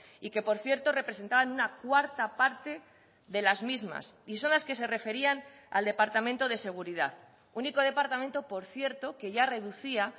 y que por cierto representaban una cuarta parte de las mismas y son las que se referían al departamento de seguridad único departamento por cierto que ya reducía